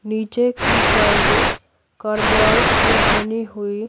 नीचे की साइड कार्बोआइट के बनी हुई--